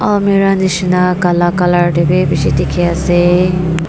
almirah nishena kala color de b bishi dikhi ase.